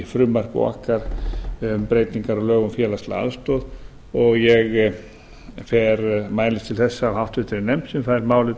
frumvarpi okkar um breytingar á lögum um félagslega aðstoð og ég mælist til þess af háttvirtum nefnd sem fær málið